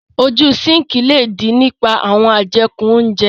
Ojú síǹkì le dí nípa àwọn ajeku óńjẹ.